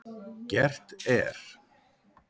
Gert er